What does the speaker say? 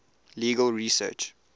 legal research